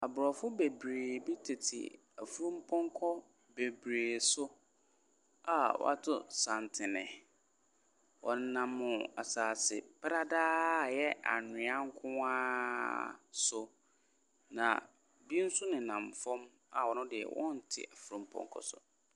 Aborɔfo bebree bi tete ɛfumu ponko bebree so a wato santene ɔnam asaseɛ pradaa a ɛyɛ annwea nkoa so na ebi nso ninam fom a ɔte ɛfumu ponko so.